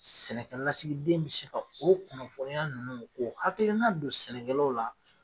Sɛnɛkɛlasigiden bi se ka o kunnafɔniya ninnu o hakilina don sɛnɛkɛlaw la